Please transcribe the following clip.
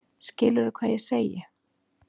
Skilurðu hvað ég segi?